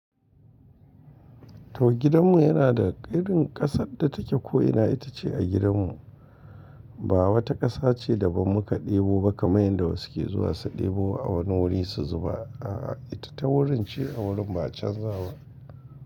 To gidanmu yana da irin ƙasar da take ko'ina ita ce a gidanmu. Ba wata ƙasa ce daban muka ɗebo ba kamar yanda wasu ke zuwa su ɗebo a wani wuri su zuba. A'a, ita ta wurin ce a wurin ba a canza ba.